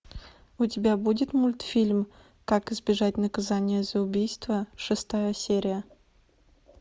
у тебя будет мультфильм как избежать наказания за убийство шестая серия